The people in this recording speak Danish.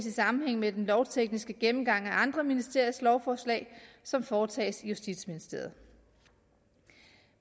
i sammenhæng med den lovtekniske gennemgang af andre ministeriers lovforslag som foretages i justitsministeriet